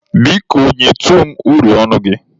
Biko, nyetụ m uri ọnụ gị.